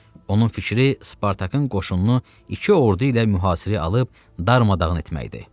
Onun fikri Spartakın qoşununu iki ordu ilə mühasirəyə alıb darmadağın etməkdir.